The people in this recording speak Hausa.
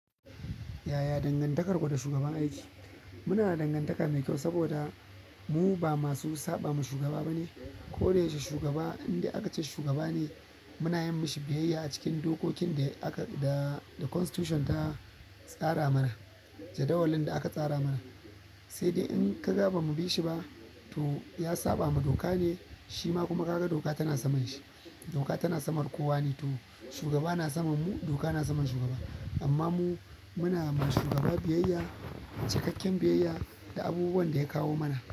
Yaya dangantakarku da shugaban aiki? Muna da dangantaka mai kyau saboda mu ba masu saɓa ma shugaba ba ne. Ko da ya ke shugaba, indai aka ce shugaba ne muna yin mashi biyayya a cikin dokokin da aka da da constitution ta tsara mana, jadawalin da aka tsara mana. Sai dai in ka ga bamu bi shi ba, to ya saɓa ma doka ne, shi ma kuma ka ga doka tana saman shi. Doka tana saman kowa ne, to shugaba na saman mu, doka na saman shugaba. Amma mu muna ma shugaba biyayya, cikakken biyayya da abubuwan da ya kawo mana.